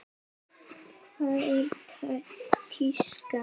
Hvað er tíska?